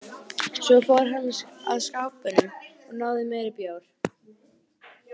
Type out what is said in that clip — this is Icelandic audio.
Svo fór hann að skápnum og náði í meiri bjór.